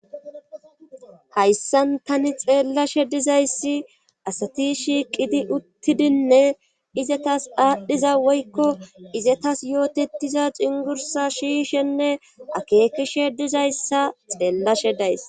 Hayssan tani xeellashe dizayssi asati shiiqidi uttidinne izetas aadhdhiza woykko izetas yootettiza cingursa shiishenne akeekishe dizayssa xeellashe days